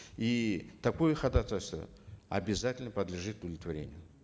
и такое ходатайство обязательно подлежит удовлетворению